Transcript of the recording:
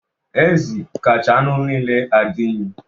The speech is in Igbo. Ezi kacha anụ niile adị unyi.